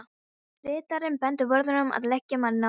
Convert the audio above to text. Ritarinn benti vörðunum að leggja manninn á bekk.